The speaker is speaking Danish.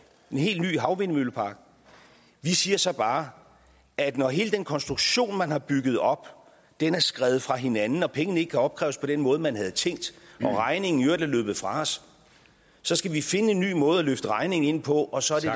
en helt ny havvindmøllepark vi siger så bare at når hele den konstruktion man har bygget op er skredet fra hinanden og pengene ikke kan opkræves på den måde man havde tænkt og regningen er løbet fra os så skal vi finde en ny måde at løfte regningen ind på og så er det